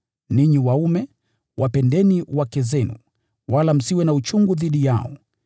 Ninyi waume, wapendeni wake zenu, wala msiwe na uchungu dhidi yao.